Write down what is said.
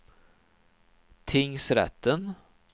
tingsrätten